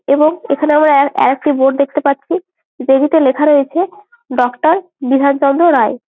এবং এখানে আমরা আর আরেকটা বোর্ড দেখতে পাচ্ছি। যেটিতে লেখা রয়েছে ডক্টর বিধান চন্দ্র রায়।